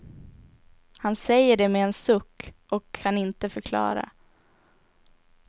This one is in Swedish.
Han säger det med en suck och kan inte förklara.